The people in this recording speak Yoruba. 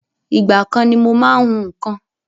Ìgbà kan ni mo má ń hún nǹkan